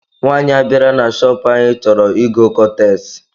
Nwanyị a bịara na chopu anyị chọrọ ịgọ kọtex